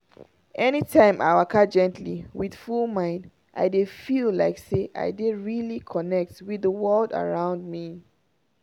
anytime i waka gently with full mind i dey feel like say i dey really connect with the world around me.